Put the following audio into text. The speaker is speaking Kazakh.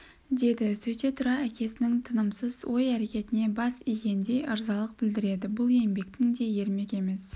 деді сөйте тұра әкесінің тынымсыз ой әрекетіне бас игендей ырзалық білдірді бұл еңбектің де ермек емес